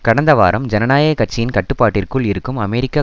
கடந்த வாரம் ஜனநாயக கட்சியின் கட்டுப்பாட்டிற்குள் இருக்கும் அமெரிக்க